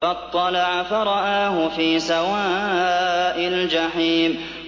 فَاطَّلَعَ فَرَآهُ فِي سَوَاءِ الْجَحِيمِ